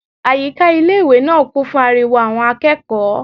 Àyíká ilé-ìwé náà kún fún ariwo àwọn akẹ́kọ̀ọ́